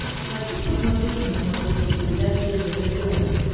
хочу посмотреть на смотрешке передачу ржд тв